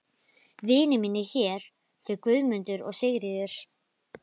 Vinir mínir hér, þau Guðmundur og Sigríður.